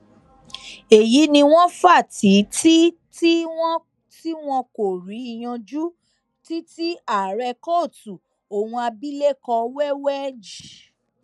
èyí ni wọn fa tiiti tí wọn kò rí yanjú títí tí ààrẹ kóòtù ohun abilékọ wẹwẹ j